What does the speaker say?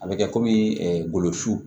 A bɛ kɛ komi ngolo su